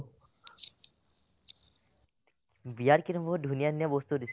বিয়াত কিন্তু বহুত ধুনীয়া ধুনীয়া বস্তু